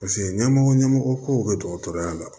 Paseke ɲɛmɔgɔ ɲɛmɔgɔ kow be dɔgɔtɔrɔya la